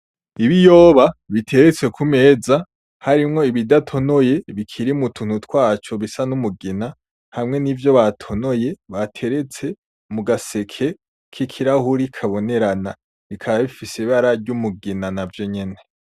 Ibiyoba biteretse kumeza harimwo ibidatonoye bikiri mu tuntu twaco bisa n'umugina; hamwe n'ivyo batonoye bateretse mu gaseke k'ikirahuri kabonerana, bikaba bifise ibara ry'umugina navyo nyene.